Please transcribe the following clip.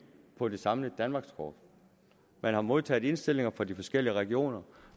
på det samlede danmarkskort man har modtaget indstilling fra de forskellige regioner